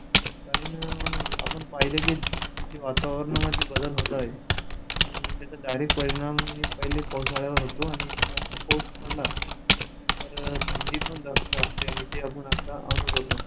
कारण आपण पाहिलं की जे वातावरण बदल होत आहेत आणि त्याचे direct परिणाम पहिले पावसाळ्यावर होतो आणि जास्त पाऊस पडला तर थंडी जास्त असते आणि ती आपण आता अनुभवतोय